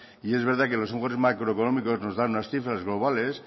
y es verdad que los macroeconómicos nos dan unas cifras globales